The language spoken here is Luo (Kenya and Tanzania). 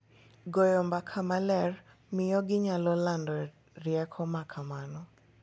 Goyo mbaka maler miyo ginyalo lando rieko ma kamano .